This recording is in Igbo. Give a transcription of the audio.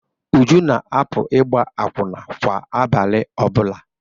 Uju na-apụ ịgba akwụna kwa abalị ọ bụla.